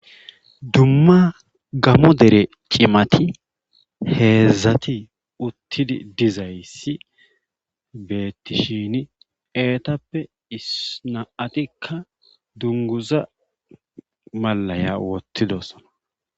Dumma gamo dere cimati heedzdzati uttidi dizayssi beettishiini eetappe issi na7atikka dunguza mallaya wottidosona.